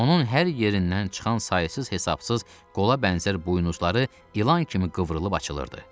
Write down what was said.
Onun hər yerindən çıxan sayısız hesabsız qola bənzər buynuzları ilan kimi qıvrılıb açılırdı.